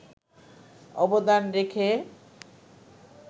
অবদান রেখে